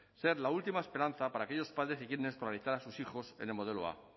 ser la última esperanza para aquellos padres que quieren escolarizar a sus hijos en el modelo a